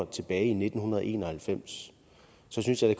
tilbage i nitten en og halvfems så synes jeg at